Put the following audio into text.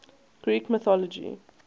greek mythology